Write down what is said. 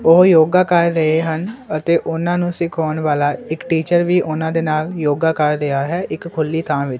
ਉਹ ਯੋਗਾ ਕਰ ਰਹੇ ਹਨ ਅਤੇ ਓਹਨਾਂ ਨੂੰ ਸਿਖਾਉਣ ਵਾਲਾ ਇੱਕ ਟੀਚਰ ਵੀ ਓਹਨਾਂ ਦੇ ਨਾਲ ਯੋਗਾ ਕਰ ਰਿਹਾ ਹੈ ਇੱਕ ਖੁੱਲ੍ਹੀ ਥਾਹ ਵਿੱਚ।